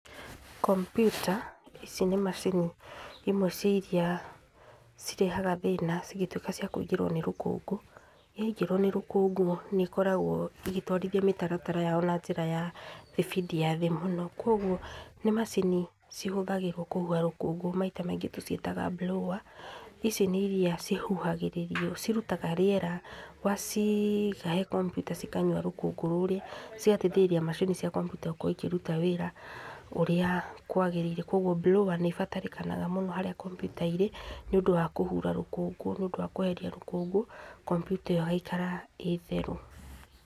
Kompuyta ici nĩ macini imwe cia iria cirehaga thĩna cingĩ tuĩka cia kũingĩrwo nĩ rũkũngũ. Ya ingĩrwo nĩ rũkũngũ nĩ ĩkoragwo ĩgĩtwarithia mũtaratara wayo na njĩra ya speed thĩ mũno, kwoguo, nĩ macini citũmagĩrwo kũhuha rũkũngũ maita maingĩ ci ĩtagwo blower, ici nĩ iria ci huhagĩrĩrio ci rutaga rĩera waciiga he kompiyuta cikanyua rũkũngũ rũrĩa cigateithĩrĩria macini cia kompiyuta gũkorwo ikĩruta wĩra ũrĩa kwagĩrĩire. Kwoguo blower nĩ ĩbatarĩkanaga mũno harĩa kompiyuta, irĩ nĩ ũndũ wa kũhura rũkũngũ nĩ ũndũ wa kweheria rũkũngũ kompiyuta ĩyo ĩgaikara ĩ theru.